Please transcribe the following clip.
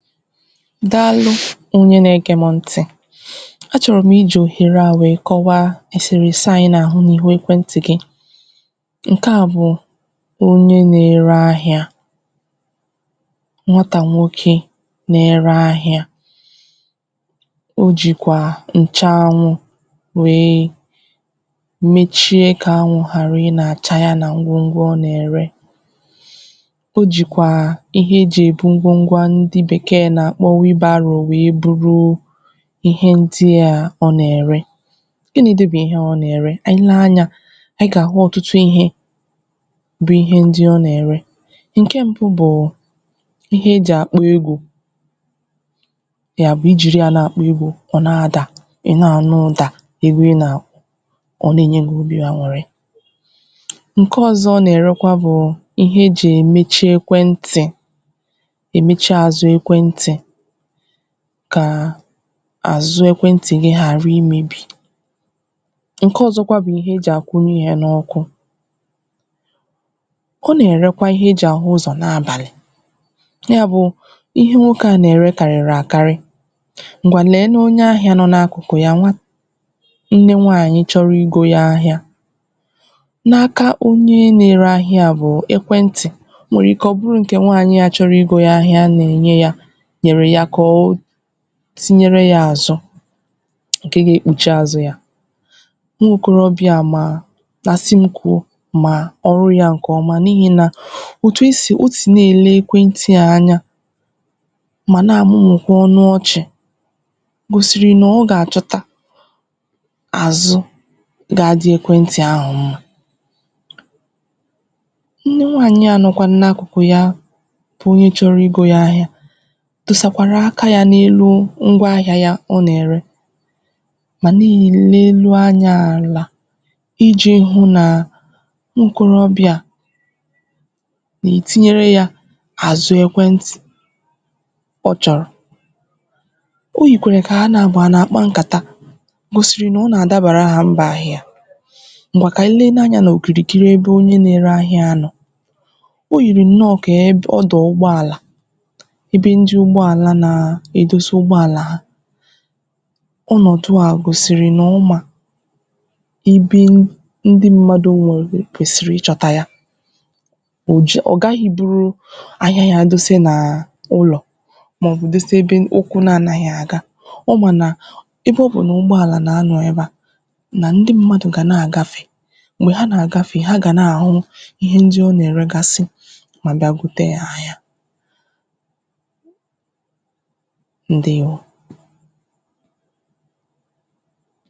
Daalụ̀ onye na-ege m ntị̀ a chọrọ̀ m iji ohere à wee kọwà eserese à anyị̀ na-ahụ̀ n’ekwentị̀ gị̀ nke à bụ̀ onye na-ere ahịà nwatà nwokè na-ere ahịà o jikwà nchaanwụ̀ wee mechie kà anwụ̀ gharà ịnachà yà nà ngwongwo ọ na-erè o jikwaà ihe e ji ebù ngwongwo à ndị̀ beke na-akpọ̀ wheelbarrow wee buruù ihe ndị a à ọ na-ere gịnịdị̀ bụ̀ ihe ọ na-ere? Anyị̀ lee anyà anyị̀ ga-ahụ̀ ọtụtụ ihe bụ̀ ihe ndị̀ ọ na-erè nke mgbụ̀ bụụ̀ ihe eji akpọ̀ egwu ya bụ̀ ijiri ya na-akpọ̀ egwu ọ na-adà ị na-anụ̀ ụdà iwe nà ọ na-enye obì gì an̄ụrị̀ nke ọzọ̀ ọ na-erekwà bụ̀ ihe eji emechì ekwentị̀ emechì azụ̀ ekwentị̀ kaa azụ̀ ekwentị̀ gị̀ ghara imebì nke ọzọkwà bụ̀ ihe eji akwunye yà n’ọkụ ọ na-erekwà ihe e ji ahụ ụzọ̀ n’abalị̀ ya bụ ihe nwoke à na-ere kariri akarì ngwanụ̀ lee onye ahịà nọ n’akụkụ̀ yà nwa nne nwaanyị̀ chọrọ̀ igo ya ahịà n’akà onye na-ere ahịà bụ̀ ekwentị̀ o nwere ike ọ bụrụ̀ nke nwaanyị̀ à chọrọ̀ igo ya ahịà na-enye yà nyere ya kọọ̀ tinyere yà asọ̀ nke ga-ekpuchì azụ̀ yà nwokorobịà maa na sị m kwuo maa ọrụ̀ yà nke ọmà n’ihi nà otù e sì, ọ ti na-ele ekwentị à anya mà na-amụmụkwà ọnụ̀ ọchị̀ gosiri na ọ ga-achọtà azụ̄ ga-adị̀ ekwentị̀ ahụ̀ mma nne nwaanyị̀ à nọkwanụ̀ n’akụkụ̀ yà bụ̀ onye chọrọ̀ igo yà ahịà tụsakwarà aka yà n’eluu ngwa ahịà yà ọ na-erè manà i leelu anya alà iji hụ̀ naa nwokorobịà na-etinyere yà azụ̀ ekwentị̀ ọ chọrọ̀ o yikwere ka ha na abụọ̀ na-akpà nkatà gosiri na o na-adabara ha mbụ̀ ahịà ngwà ka anyị̀ lenù anya n’okirikiri ebe onye na-ere ahị̇à nọ̀ o yiri nọọ̀ ka ebe ọdụ ụgbọalà ebe ndị ugbọalà naa edosi ụgbọalà ha ọnọdụ̀ gosiri na ọ ma ibiin ndị̀ mmadụ̀ nwezì kwesiri ịchọtà yà o ju, ọ gaghị̀ iburuu ahịà yà dose naa ụlọ̀ maọbụ̀ dose ebe ụkwụ̀ na anaghị̀ agà ọ ma nà ebe ọ bụ̀ na ụgbọalà na-anọ̀ ebe à na ndị̀ mmadụ̀ ga na-agafe mgbe ha na-agafe, ha ga na-ahụụ ihe ndị̀ ọ na-eregasị̀ ma abịà gotè yà ahịà. Ndewo!